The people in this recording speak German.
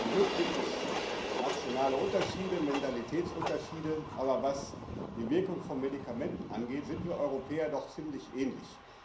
Zum Glück gibt es nationale Unterschiede, Mentalitätsunterschiede, aber was die Wirkung von Medikamenten angeht, sind wir Europäer doch ziemlich ähnlich.